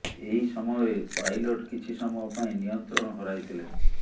ଏହି ସମୟରେ ପାଇଲଟ କିଛି ସମୟ ପାଇଁ ନିୟନ୍ତ୍ରଣ ହରାଇଥିଲେ